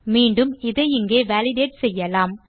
மீண்டும் இதை இங்கே வாலிடேட் செய்யலாம்